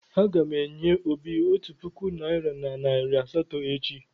Aga m enye Obi otu puku naịra na nari asatọ echi.